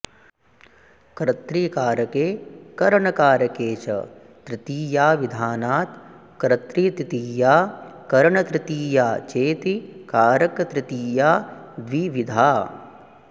कर्तृकारके करणकारके च तृतीयाविधानात् कर्तृतृतीया करणतृतीया चेति कारकतृतीया द्विविधा